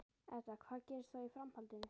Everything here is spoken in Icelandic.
Edda: Hvað gerist þá í framhaldinu?